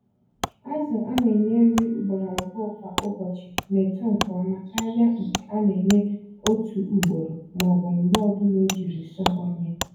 Azụ a nenye nri ugboro abụọ kwa ụbọchị na-eto nke ọma karịa nke a na-enye otu ugboro m'ọbụ mgbe ọbula ojiri sọọ onye.